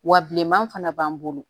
Wa bilenman fana b'an bolo